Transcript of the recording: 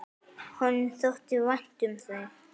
Honum þótti vænt um þau.